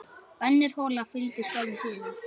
Önnur hola fylgdi skömmu síðar.